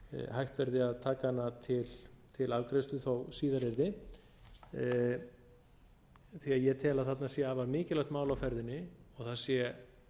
hægt verði að taka hana til afgreiðslu þó síðar yrði því að ég tel að þarna sé afar mikilvægt mál á ferðinni og það sé